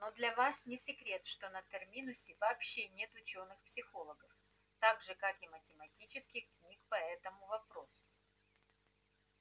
но для вас не секрет что на терминусе вообще нет учёных психологов так же как и математических книг по этому вопросу